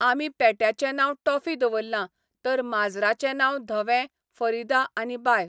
आमी पेट्याचें नांव टोफी दवल्लां, तर माजराचें नांव धवें, फरिदा आनी बाय.